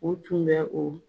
U tun bɛ o